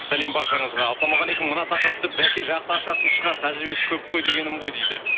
сәлем баршаңызға ассалаумағалейкум мына тақырыпты баке жақсы ашатын шығар тәжірибесі көп қой дегенім ғой дейді